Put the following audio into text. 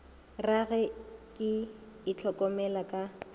ra ge ke itlhokomela ka